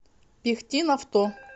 пихтинавто